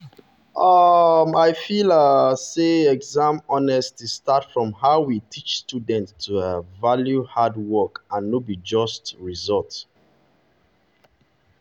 um i feel um say exam honesty start from how we teach students to um value hard work and no be just result.